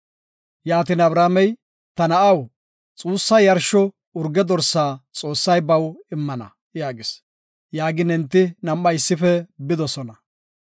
Yaatin Abrahaamey, “Ta na7aw, xuussa yarsho urge dorsa Xoossay baw immana” yaagis. Yaagin enti nam7ay issife bidosona.